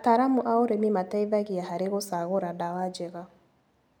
Ataramu a ũrĩmi mateithagia harĩ gũcagũra ndawa njega.